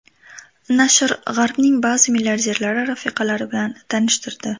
Nashr G‘arbning ba’zi milliarderlari rafiqalari bilan tanishtirdi.